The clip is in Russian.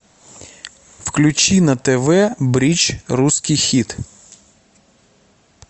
включи на тв бридж русский хит